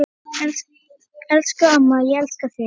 Elsku amma, ég elska þig.